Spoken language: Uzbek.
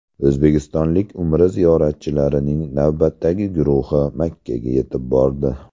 O‘zbekistonlik Umra ziyoratchilarining navbatdagi guruhi Makkaga yetib bordi.